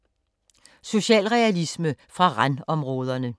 Socialrealisme fra randområderne